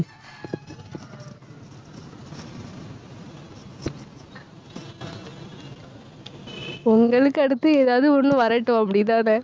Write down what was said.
பொங்கலுக்கு அடுத்து, ஏதாவது ஒண்ணு வரட்டும், அப்படிதானே